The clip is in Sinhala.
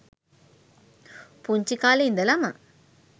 පුංචි කාලේ ඉදලම